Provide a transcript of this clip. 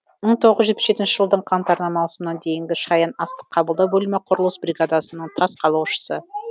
мың тоғыз жүз жетпіс жетінші жылдың қаңтарынан маусымына дейін шаян астық қабылдау бөлімі құрылыс бригадасының тас қалаушысы